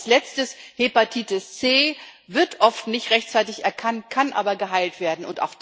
Als Letztes Hepatitis C wird oft nicht rechtzeitig erkannt, kann aber geheilt werden.